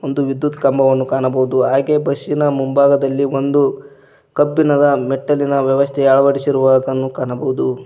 ವಿದ್ಯುತ್ ಕಂಬವನ್ನು ಕಾಣಬಹುದು ಹಾಗೆ ಬಸ್ ಇನ ಮುಂಭಾಗದಲ್ಲಿ ಒಂದು ಕಬ್ಬಿಣದ ಮೆಟ್ಟಿಲಿನ ವ್ಯವಸ್ಥೆ ಅಳವಡಿಸಿರುವದನ್ನು ಕಾಣಬಹುದು.